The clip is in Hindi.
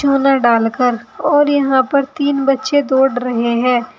उन्हें डालकर और यहां पर तीन बच्चे दौड़ रहे हैं।